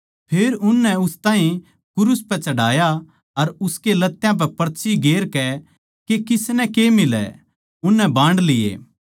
फेर उननै उस ताहीं क्रूस पै चढ़ाया अर उसकै लत्यां पै पर्ची गेर कै के किसनै के मिलै उननै बांड लिये